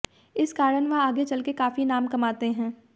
इस कारण वह आगे चलकर काफी नाम कमाते हैं